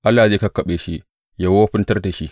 Allah zai kakkaɓe shi, yă wofintar da shi!